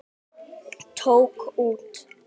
Tók út.